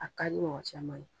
A kadi mɔgɔ caman ye.